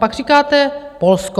Pak říkáte Polsko.